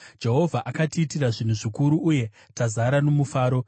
Jehovha atiitira zvinhu zvikuru, uye tazara nomufaro.